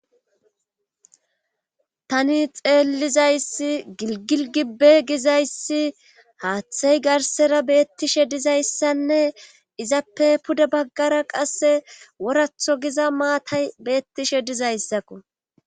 Tani xeellizayssi giggil gibben gizayssi haathey garssara beettishe dizayssinne izappe pude baggara qasse woratho giza maatay beettishe dizayssako